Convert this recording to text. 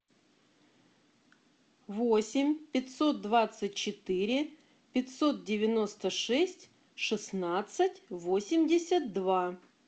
восемь пятьсот двадцать четыре пятьсот девяносто шесть шестнадцать восемьдесят два